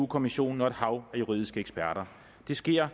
kommissionen og et hav af juridiske eksperter det sker